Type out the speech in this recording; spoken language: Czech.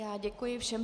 Já děkuji všem.